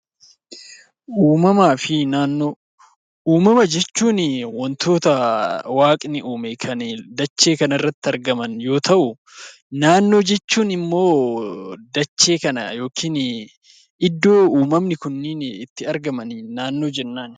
Uumama fi naannoo Uumama jechuun waantota waaqni uume kan dachee kana irratti argaman yoo ta'u, naannoo jechuun immoo dachee kana yookiin iddoo uumamni kunniin itti argamaniin naannoo jennaan.